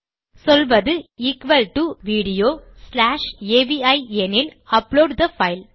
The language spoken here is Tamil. சொல்வது equal to video dot AVI எனில் அப்லோட் தே பைல்